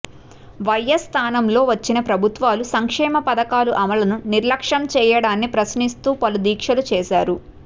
YS స్థానంలో వచ్చిన ప్రభుత్వాలు సంక్షేమ పథకాల అమలును నిర్లక్ష్యం చేయడాన్ని ప్రశ్నిస్తూ పలు దీక్షలు చేశారు